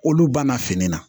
Olu banna fini na